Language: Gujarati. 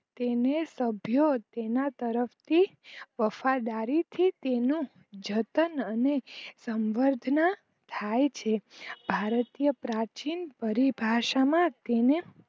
તેને સભ્યો તેના તરફ થી વફાદારી થી તેનો જતન અને સમભ્ર્ડ્ના થાય છે ભારતતીય પ્રાચીન પરિભાસા માં તેને